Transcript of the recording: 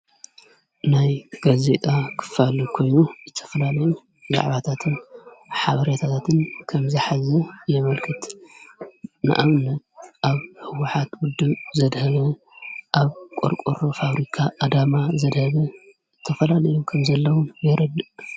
ናይ ጋዜጣ ክፋል ኮይኑ ዝተፈላለዩን ዛዕባታትን ሓበሬታታትን ከም ዝሓዘ የመልክት። ንኣብነት ኣብ ሕወሓት ዉዱብ ዘድሀበ ፣ ኣብ ቆርቆሮ ፋብሪካ ኣዳማ ዘድሀበ እተፈላለዩ ከም ዘለዉን የረድእ።